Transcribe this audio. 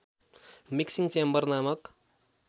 mixing chamber नामक